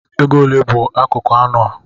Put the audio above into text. Ego ole bụ akụkụ anụ a